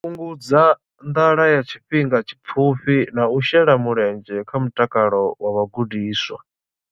Fhungudza nḓala ya tshifhinga tshipfufhi na u shela mulenzhe kha mutakalo wa vhagudiswa.